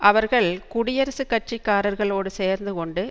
அவர்கள் குடியரசுக் கட்சிக்காரர்களோடு சேர்ந்து கொண்டு